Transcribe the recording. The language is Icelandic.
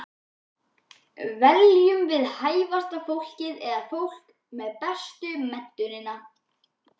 Veljum við hæfasta fólkið eða fólkið með bestu menntunina?